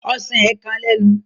Ọsán ė kan lẹ́nu.